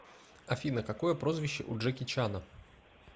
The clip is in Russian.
афина какое прозвище у джеки чана